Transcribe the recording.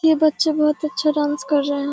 ये बच्चा बहुत अच्छा डांस कर रहा है।